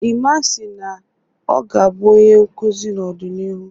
Emma si na ọ ga-abụ onye nkuzi n'ọdịnihu